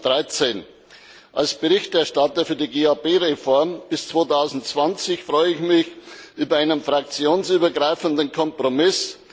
2013. Als Berichterstatter für die GAP Reform bis 2020 freue ich mich über einen fraktionsübergreifenden Kompromiss.